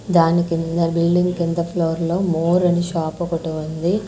దానికింద building కింద ఫ్లోర్లో More అని షాప్ ఒకటి ఉంది.